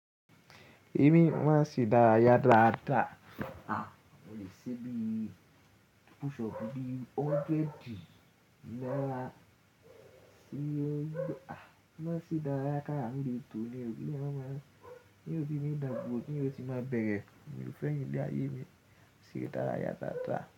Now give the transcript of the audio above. Èmi máa se idárayá dáadáa. Mo lè ṣe bií pushup bíi hundred Tí yó, ah! Má sì dárayá kára méjì tò ni òbí mi, ní òbí mi dàgbò ni ó ti máa bẹ̀rẹ̀. Èmi ò fẹ́ ìyì ile áyẹ́ mi ṣí dárayá dáadáa.